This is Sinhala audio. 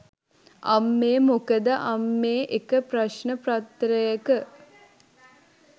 අම්මේ මොකක්ද අම්මේ එක ප්‍රශ්න පත්‍රයක